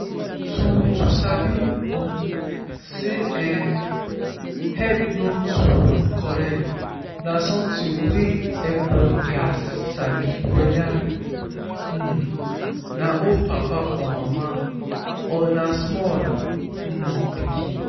to to sabi um say ehhh head no too correct na sometin wey everybody gats sabi weda um na old papa or mama or na small um pikin